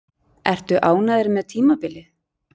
Ertu ánægður með tímabilið?